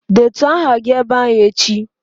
Detuo aha gị ebe ahụ echi!